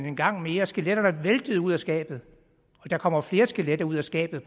en gang mere og skeletterne væltede ud af skabet der kommer flere skeletter ud af skabet